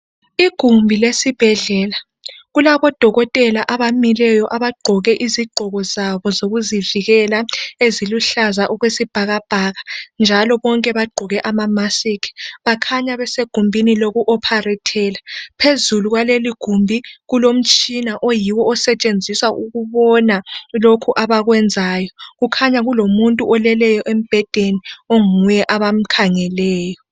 Igumbi lesibhedlela. Kulabodokotela abamileyo abagqoke izigqoko zabo zokuzivikela eziluhlaza okwesibhakabhaka njalo bonke bagqoke amamasiki bakhanya besegumbini loku opharethela phezulu kwaleligumbi kulomtshina oyiwo osetshenziswa ukubona lokhu abakwenzayo. Kukhanya kulomuntu oleleyo embhedeni onguye abamkhangeleyo.